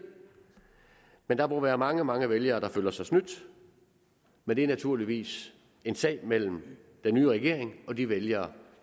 men der må være mange mange vælgere der føler sig snydt men det er naturligvis en sag mellem den nye regering og de vælgere